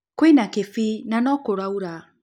Kwĩ na kĩbii na no kũraura